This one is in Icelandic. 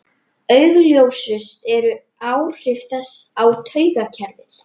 Grimmdaræði styrjaldarinnar þegar í byrjun í algleymingi.